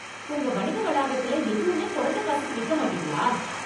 உங்க வணிக வளாகத்துல எதுவுமே குறைஞ்ச காசுக்கு விக்க மாட்டிங்களா?